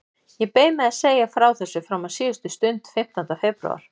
Ég beið með að segja frá þessu fram á síðustu stund, fimmtánda febrúar.